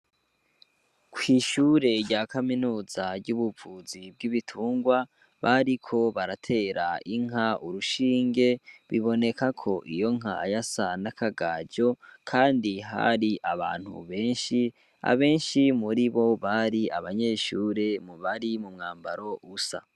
Kw'ishure rya kaminuza ry'ubuvuzi bw'ibitungwa, bariko baratera inka urushinge, biboneka ko iyo nka yasa n'akagajo, kandi hari abantu benshi, abenshi muri bo bari abanyeshure mu bari mu mwambaro usa.